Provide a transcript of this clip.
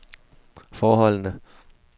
forholdene